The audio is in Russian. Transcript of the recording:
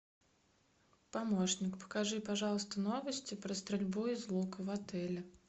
помощник покажи пожалуйста новости про стрельбу из лука в отеле